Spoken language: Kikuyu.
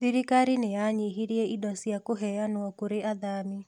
Thirikari nĩ yanyihirīe indo cia kũheanwo kũrĩ athami